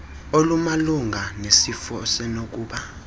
olumalunga nesifo osenokuba